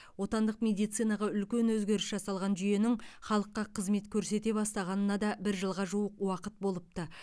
отандық медицинаға үлкен өзгеріс жасалған жүйенің халыққа қызмет көрсете бастағанына да бір жылға жуық уақыт болыпты